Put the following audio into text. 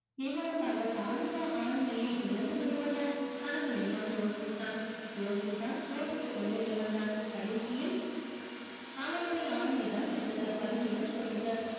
இவளுக்காக தானுமா ஆண்மையை இழந்து விடுவது கனகலிங்கம் யோசித்தான் யோசித்தான் யோசித்துக் கொண்டே இருந்தான் கடைசியில் அவனுடைய ஆண்மைதான் வென்றது பலவீனம் தோற்றது